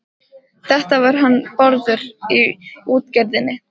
Þetta var hann Bárður í útgerðinni.